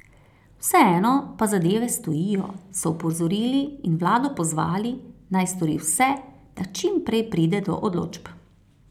Vseeno pa zadeve stojijo, so opozorili in vlado pozvali, naj stori vse, da čim prej pride do odločb.